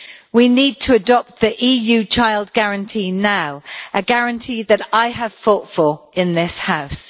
We need to adopt the EU Child Guarantee now, a guarantee that I have fought for in this House.